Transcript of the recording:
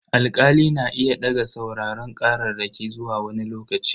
Alkali na iya daga sauraron kararraki zuwa wani lokaci.